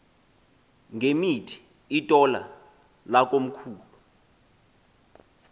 ngemithi itola lakomkhulu